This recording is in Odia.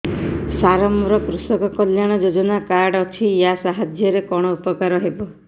ସାର ମୋର କୃଷକ କଲ୍ୟାଣ ଯୋଜନା କାର୍ଡ ଅଛି ୟା ସାହାଯ୍ୟ ରେ କଣ ଉପକାର ହେବ